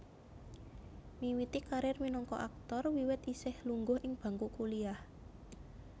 Miwiti karir minangka aktor wiwit isih lungguh ing bangku kuliah